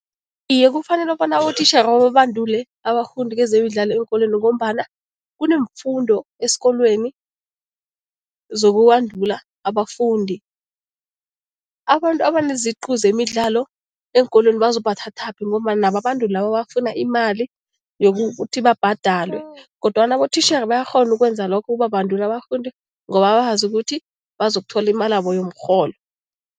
Iye, kufanele bona utitjhere bababandule abafundi kezemidlalo eenkolweni ngombana kuneemfundo esikolweni zokubandula abafundi. Abantu abaneziqu zemidlalo eenkolweni bazobathathaphi ngombana nabo abantu labo bafuna imali yokuthi babhadalwe kodwana abotitjhere bayakghona ukwenza lokho, ukubabandula abafundi ngoba bazi ukuthi bazakuthola imalabo yomrholo.